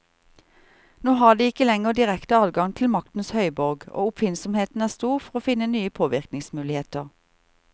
Nå har de ikke lenger direkte adgang til maktens høyborg, og oppfinnsomheten er stor for å finne nye påvirkningsmuligheter.